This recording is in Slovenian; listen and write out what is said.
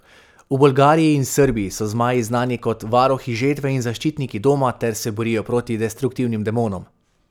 V Bolgariji in Srbiji so zmaji znani kor varuhi žetve in zaščitniki doma ter se borijo proti destruktivnim demonom.